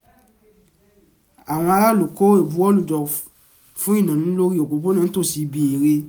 àwọn aráàlú kó ìbuwọ́lù jọ fún iná lórí òpópónà nítòsí ibi eré